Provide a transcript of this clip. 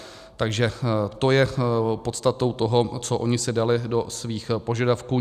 Takže to je podstatou toho, co oni si dali do svých požadavků.